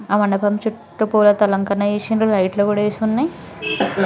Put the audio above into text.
ఆ మండపం చుట్టూ పూలతో అలంకరణ చేసిండ్రు. లైట్ లు కూడా వేసి ఉన్నాయి.